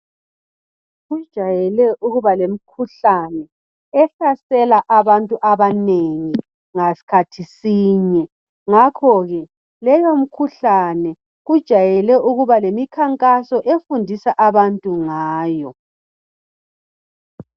Kujayele ukuba lemikhuhlane ehlasela abantu abanengi ngasikhathi sinye ngakho ke leyo mikhuhlane kujayele ukuba lemikhankaso efundisa abantu ngayo.